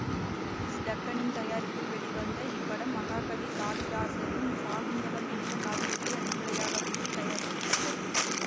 Ellis டக்கனின் தயாரிப்பில் வெளிவந்த இப்படம் மகாகவி காளிதாசரின் சாகுந்தலம் என்ற காவியத்தை அடிப்படையாக வைத்து தயாரிக்கப்பட்டது